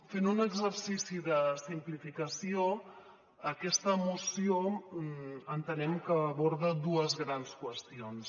fent un exercici de simplificació aquesta moció entenem que aborda dues grans qüestions